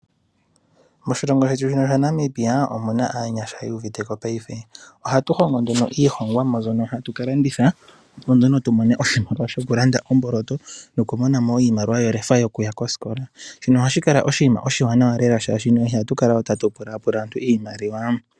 Moshilongo shetu shino Namibia omu na aanyasha yu uviteko paife ohatu hongo nduno iihongwamo mbyono hatu ka landitha, opo nduno tu mone oshimaliwa shokulanda omboloto nokumona mo iimaliwa yokuya kosikola shino hashi kala oshinima oshiwanawa lela, oshoka ihatu kala tatu pula pula aantu iimaliwa.